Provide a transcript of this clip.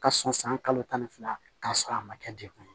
Ka sɔn san kalo tan ni fila k'a sɔrɔ a ma kɛ degun ye